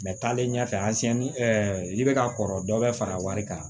taalen ɲɛfɛ i bɛ ka kɔrɔ dɔ bɛ fara wari kan